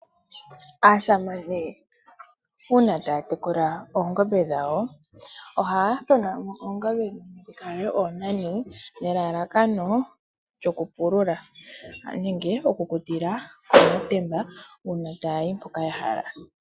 Aasamane uuna taya tekula oongombe dhawo ohaya thona mo oongombe dhimwe dhi kale oonani. Elalakano okupulula noshowo oku lutila okàtemba uuna taya yi mpoka ya hala.